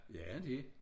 Ja det